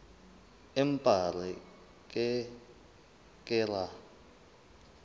empa re ke ke ra